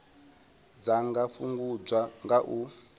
dza nga fhungudzwa nga u